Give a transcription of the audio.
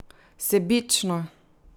Sebično!